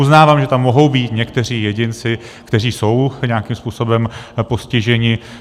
Uznávám, že tam mohou být někteří jedinci, kteří jsou nějakým způsobem postiženi.